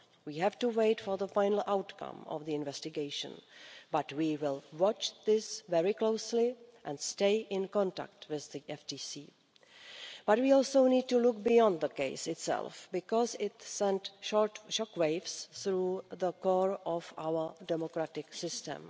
We have to wait for the final outcome of the investigation, but we will watch this very closely and stay in contact with the FTC. But we also need to look beyond the case itself because it sent shock waves through the core of our democratic system.